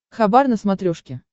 хабар на смотрешке